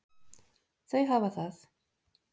Þau hafa það.